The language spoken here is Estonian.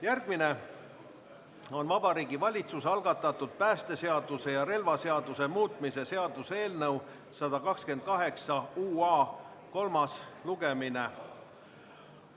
Järgmine on Vabariigi Valitsuse algatatud päästeseaduse ja relvaseaduse muutmise seaduse eelnõu 128 kolmas lugemine.